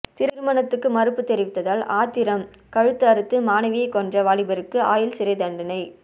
திருமணத்துக்கு மறுப்பு தெரிவித்ததால் ஆத்திரம் கழுத்து அறுத்து மாணவியை கொன்ற வாலிபருக்கு ஆயுள் சிறை தண்டனை